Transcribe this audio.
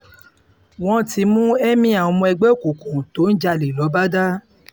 wọ́n ti mú emir ọmọ ẹgbẹ́ òkùnkùn tó ń jalè lọ́bàdà